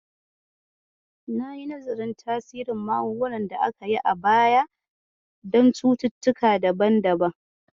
Yi nazarin tasirin magungunan da aka yi a baya don cututtuka daban-daban.